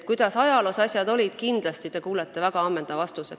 Kuidas ajaloos asjad olid, selle kohta kuulete te kindlasti väga ammendava vastuse.